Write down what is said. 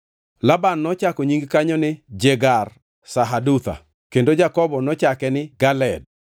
Laban nochako nying kanyo ni Jegar-Sahadutha; kendo Jakobo nochake ni Galeed.